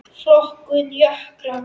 Flokkun jökla